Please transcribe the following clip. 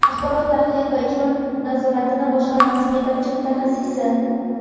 Axborot-tahlil va ijro nazorati boshqarmasi yetakchi mutaxasssisi;.